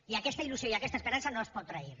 i aquesta il·lusió i aquesta esperança no es poden trair